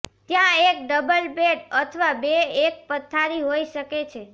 ત્યાં એક double bed અથવા બે એક પથારી હોઈ શકે છે